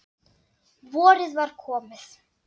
Vorið var komið.